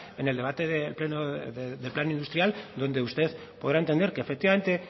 en el debate del plan industrial donde usted podrá entender que efectivamente